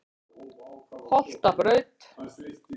Holtabraut